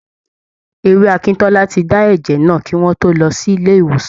Ewé akíntọ́lá ti dá ẹ́jẹ́ náà, kí wọ́n tó lọ sí ilé ìwòsàn.